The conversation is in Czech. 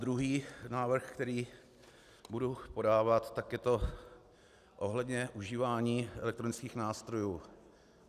Druhý návrh, který budu podávat, tak je to ohledně užívání elektronických nástrojů.